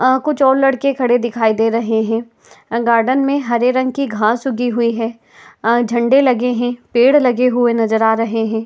अ कुछ और लड़के खड़े दिखाई दे रहे हैं। अ- गार्डन में हरे रंग की घास उगीं हुई है। अ- झंडे लगे हैं। पेड़ लगे हुए नजर आ रहे हैं।